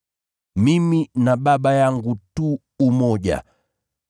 Mimi na Baba yangu tu umoja.”